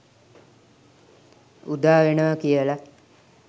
උදා වෙනවා කියලා.